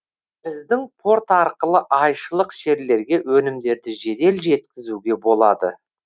біздің порт арқылы айшылық жерлерге өнімдерді жедел жеткізуге болады